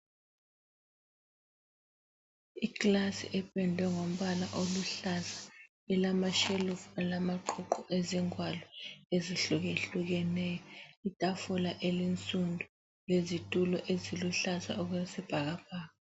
Ikilasi ependwe ngombala oluhlaza ilamashelufu elamaqhuqhu ezingwalo ezehlukehlukeneyo. Itafula ensundu lezitulo eziluhlaza okwesibhakabhaka.